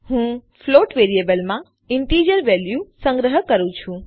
હું ફ્લોટ વેરિયેબલમાં integer value સંગ્રહ કરું છું